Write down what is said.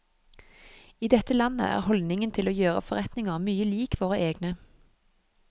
I dette landet er holdningen til å gjøre forretninger mye lik våre egne.